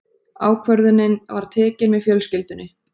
Ákvörðunin var tekin með fjölskyldunni.